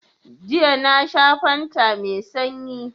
Jiya na sha fanta mai sanyi